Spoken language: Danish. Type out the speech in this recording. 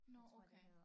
Tror jeg det hedder